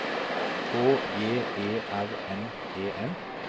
H J E R N E N